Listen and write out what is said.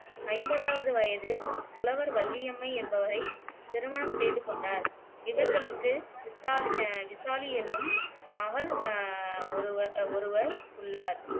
ஐம்பதாவது வயதில் புலவர் வள்ளியம்மை என்பவரைத் திருமணம் செய்து கொண்டார் இவர்களுக்கு விசால் அஹ் விசாலி என்னும் மகள் அஹ் ஒருவர் உள்ளார்